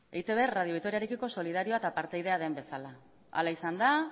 eitb radio vitoriarekiko solidarioa eta partaidea den bezala hala izan da